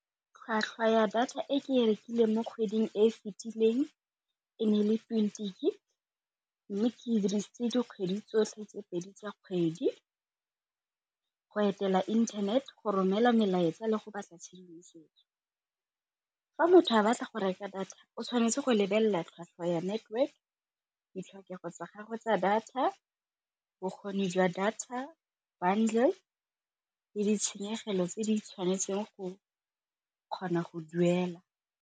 Tlhwatlhwa ya data e ke e rekileng mo kgweding e e fetileng e ne e le twenty gig mme ke dirisitse dikgwedi tsotlhe tse pedi tsa kgwedi, go etela internet go romela melaetsa le go batla tshedimosetso. Fa motho a batla go reka data o tshwanetse go lebelela tlhwatlhwa ya network, ditlhokego tsa gagwe tsa data, bokgoni jwa data bundle le ditshenyegelo tse di tshwanetseng go kgona go duela.